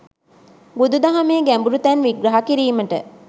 බුදු දහමේ ගැඹුරු තැන් විග්‍රහ කිරීමට